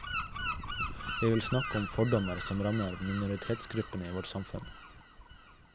Jeg vil snakke om fordommer som rammer minoritetsgruppene i vårt samfunn.